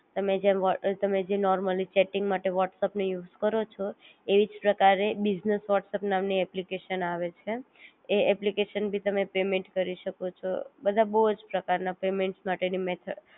તમે જએમ વ્હોટ તમે જે નૉર્મલી ચેટિંગ માટે વ્હોટ્સઅપપ નો એ યુઝ કરો છો એવી જ પ્રકારે બીઝનેસ વ્હોટ્સઅપ્પ નામ ની એપ્લિકેશન આવે છે એ એપ્લિકેશન બી તમે પેમેન્ટ કરી શકો છો બધા બોવ જ પ્રકાર ના પેમેન્ટ માટે ની મેથડ